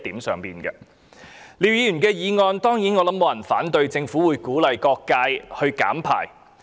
就廖議員的議案，我想沒有人會反對政府鼓勵各界減少排放溫室氣體。